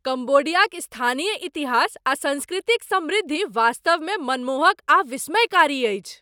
कम्बोडियाक स्थानीय इतिहास आ संस्कृतिक समृद्धि वास्तवमे मनमोहक आ विस्मयकारी अछि।